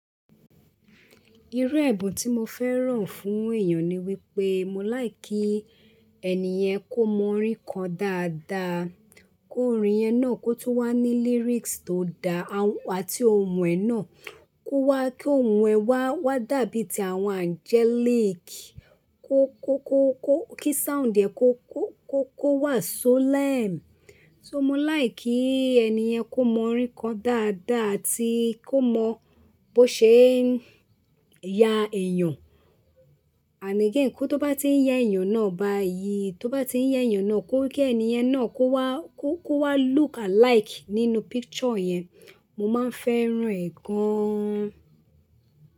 Irú ẹ̀bùn tí mo fẹ́ràn fún èeyàn ni wípé mo like kí ẹniyẹn kó mọ orin ko dáadáa, ki orin yẹn náà kun wá ní lyrics tó daá àti ohùn ẹ náà kó wá ki ohùn ẹ wá wá dàbí ti àwọn angelic. Kó kó kó kí sound ẹ kó kó kó kó wà solemn. So mo like kí ẹni yẹn kó mọ orin kan dáadáa àti kó mọ bó ṣe ń ya èyàn. And again kó tó bá tí ń yẹ èeyàn náà bá yí, tó bá tí ń yẹ èeyàn náà kó kí ẹni yẹn náà kó wá kó kó wá look alike nínú picture yẹn. Mo máa ń fẹ́ràn ẹ̀ gan.